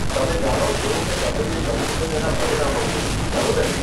તમે જાણો છો કે તમે જે કર્યું છે તેના પરિણામો છે, ખરું ને?